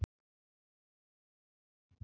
Það er gott mál.